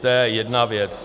To je jedna věc.